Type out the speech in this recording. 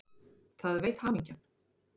Það veit hamingjan.